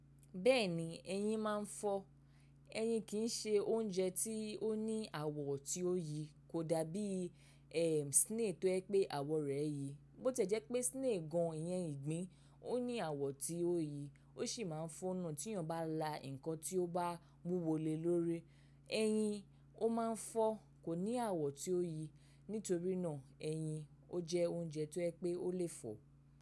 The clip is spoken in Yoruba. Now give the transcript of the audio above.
Bẹ́ẹ̀ni ẹyin máa ń fọ́. Eyin kì se oúnjẹ tí ó ní àwọ̀ tí ó yi, kò dàbí ẹm, snail tó jẹ pé àwọ̀ rẹ̀ yi. Bi ó tẹ́ jẹ́ pé snail gan ìyẹn ìgbín, ó ní àwọ̀ tí ó yi, ó sì máa ń fó ná tí èèyàn bá la nǹkan tí ó bá wúwo lé lórí. Eyin o máa ń fọ́, kò ní àwọ̀ tí ó yi. Nítorí náà eyin o jẹ́ oúnjẹ tó yẹ pé ó lè fọ̀.